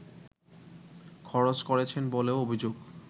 খরচ করেছেন বলেও অভিযোগ